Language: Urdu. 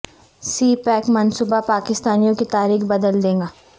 سی پیک منصوبہ پاکستانیوں کی تاریخ بدل دے گا